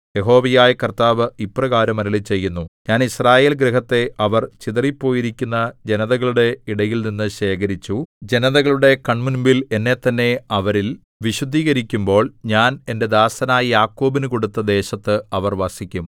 യഹോവയായ കർത്താവ് ഇപ്രകാരം അരുളിച്ചെയ്യുന്നു ഞാൻ യിസ്രായേൽഗൃഹത്തെ അവർ ചിതറിപ്പോയിരിക്കുന്ന ജനതകളുടെ ഇടയിൽനിന്ന് ശേഖരിച്ചു ജനതകളുടെ കണ്മുമ്പിൽ എന്നെത്തന്നെ അവരിൽ വിശുദ്ധീകരിക്കുമ്പോൾ ഞാൻ എന്റെ ദാസനായ യാക്കോബിനു കൊടുത്ത ദേശത്ത് അവർ വസിക്കും